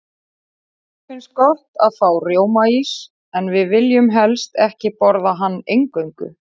Okkur finnst gott að fá rjómaís, en viljum helst ekki borða hann eingöngu.